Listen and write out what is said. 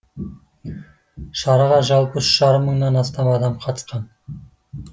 шараға жалпы үш жарым мыңнан астам адам қатысқан